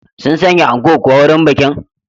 Sun sanya anko suwa wurin bikin